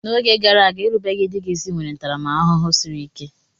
N'oge gara aga, erubeghi di gị isi nwere ntaramahụhụ siri ike.